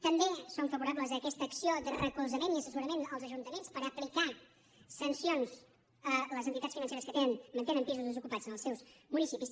també som favorables a aquesta acció de recolzament i assessorament als ajuntaments per aplicar sancions a les entitats financeres que tenen que mantenen pisos desocupats en els seus municipis